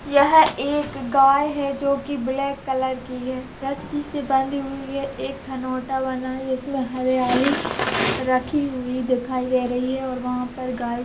यह एक गाय है जो की ब्लैक कलर की है रस्सी से बंधी हुई है एक खनोटा बना है जिसमें हरीयाली रखी हुई दिखाई दे रही है और वहाँ पर गाय--